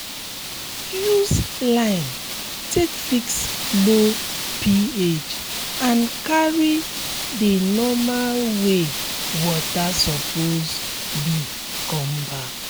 use um lime take fix low ph and carry um the normal way water suppose be come back